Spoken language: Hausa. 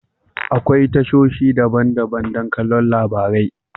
Akwai tashoshi daban-daban don kallon labarai.